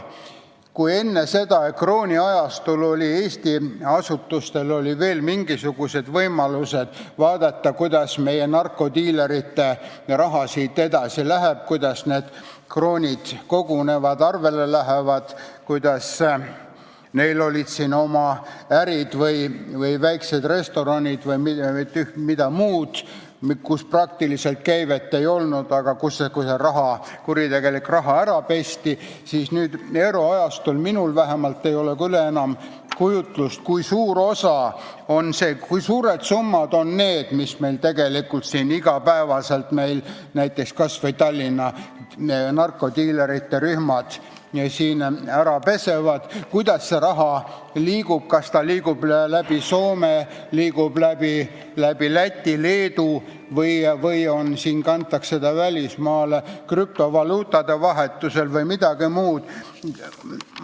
Kui enne seda ehk krooniajastul oli Eesti asutustel veel mingisugused võimalused vaadata, kuhu meie narkodiilerite raha siit edasi läks, kuidas need kroonid arvele tulid, kuidas diileritel olid siin oma ärid või väiksed restoranid ja mida kõike muud, kus praktiliselt käivet ei olnud, aga kus see kuritegelik raha ära pesti, siis euroajastul ei ole vähemalt minul küll enam ettekujutust, kui suured summad on need, mida tegelikult iga päev näiteks kas või Tallinna narkodiilerite rühmad siin ära pesevad ja kuidas see raha liigub, kas ta liigub läbi Soome, Läti või Leedu või kantakse ta välismaale krüptovaluutade vahendusel või toimub midagi muud.